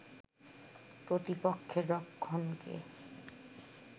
প্রতিপক্ষের রক্ষণকে